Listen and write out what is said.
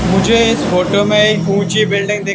मुझे इस फोटो में एक ऊंची बिल्डिंग दिख--